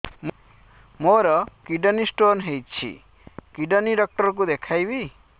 ମୋର kidney stone ହେଇଛି kidney doctor କୁ ଦେଖାଇବି